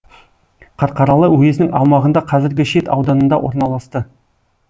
қарқаралы уезінің аумағында қазіргі шет ауданында орналасты